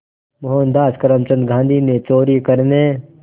मोहनदास करमचंद गांधी ने चोरी करने